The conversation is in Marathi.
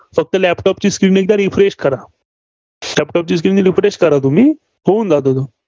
फक्त laptop ची Screen एकदा refresh करा. laptop ची Screen refresh करा तुम्ही, होऊन जातो तो.